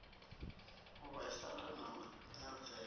u vhaisala na u nyadzea